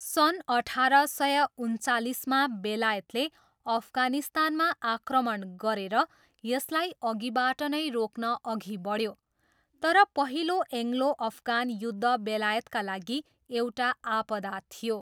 सन् अठार सय उन्चालिसमा, बेलायतले अफगानिस्तानमा आक्रमण गरेर यसलाई अघिबाट नै रोक्न अघि बढ्यो, तर पहिलो एङ्ग्लो अफगान युद्ध बेलायतका लागि एउटा आपदा थियो।